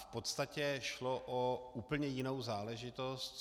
V podstatě šlo o úplně jinou záležitost.